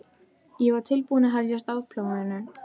Ég var tilbúin að hefja afplánun.